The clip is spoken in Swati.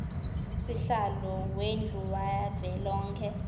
sihlalo wendlu yavelonkhe